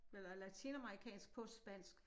Eller latinamerikansk på spansk